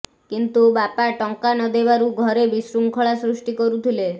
କିନ୍ତୁ ବାପା ଟଙ୍କା ନଦେବାରୁ ଘରେ ବିଶୃଙ୍ଖଳା ସୃଷ୍ଟି କରୁଥିଲେ